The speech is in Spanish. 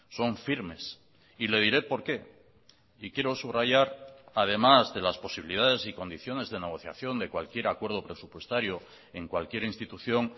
son firmes y le diré por qué y quiero subrayar además de las posibilidades y condiciones de negociación de cualquier acuerdo presupuestario en cualquier institución